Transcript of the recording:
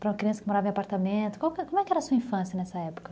Para uma criança que morava em apartamento, como é que era a sua infância nessa época?